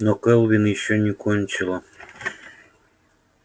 но кэлвин ещё не кончила